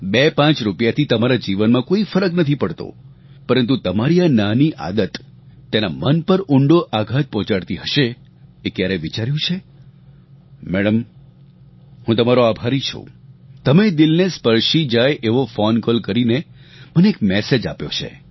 બેપાંચ રૂપિયાથી તમારા જીવનમાં કોઇ ફરક નથી પડતો પરંતુ તમારી આ નાની આદત તેના મન પર ઊંડો આઘાત પહોંચાડતી હશે એ ક્યારેય વિચાર્યું છે મેડમ હું તમારો આભારી છું તમે દિલને સ્પર્શી જાય એવો ફોન કૉલ કરીને મને એક મેસેજ આપ્યો છે